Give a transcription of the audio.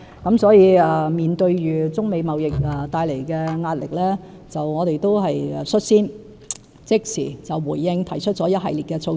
因此，面對中美貿易戰帶來的壓力，我們率先即時回應，提出了一系列措施。